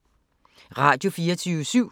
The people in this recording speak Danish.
Radio24syv